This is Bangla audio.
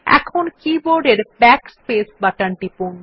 এখন কীবোর্ডের Backspace বাটন টিপুন